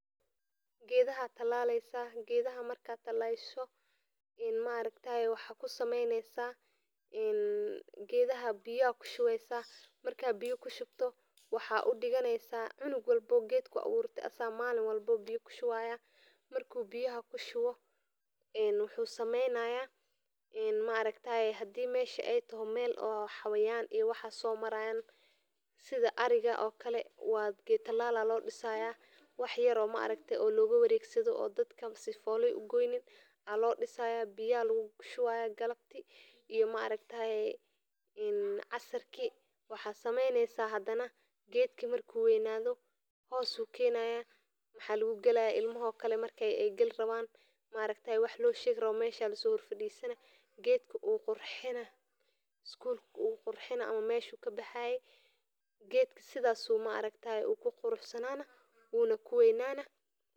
Gedaha aya talalesa geedhaha marka talasho maragtaye geedaha biya aya kushuweysa marka biyo kushubato waxaa udiganeysa cunug walbo oo geedku awurte asaga malin walbo biya kushuwaya marku biyaha kushibo wuxuu sameynaya hadii mesha ee taho meel xayawan somarayan sitha ariga geed talal aya lodisaya wax yar oo maragta loga waregsadho oo sadka sifalo ee ugoyin biya aya lagu shubaya galabti iyo maaragtaye in casirki waxaa sameysnesa hadana geedki warku weynadho hos ayu kenaya marki ilmaha oo kale igal rawan maragtaye wax loshegi rawo mesha aya laso fadisina isgulka wu kurxina ama meeshi u kabaxaye.